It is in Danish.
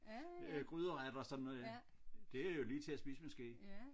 Øh gryderetter og sådan noget ikke det jo lige til at spise med ske